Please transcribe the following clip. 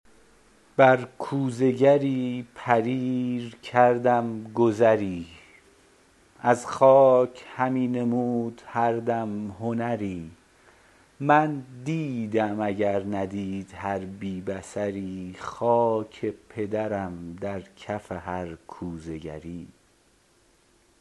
بر کوزه گری پریر کردم گذری از خاک همی نمود هر دم هنری من دیدم اگر ندید هر بی بصری خاک پدرم در کف هر کوزه گری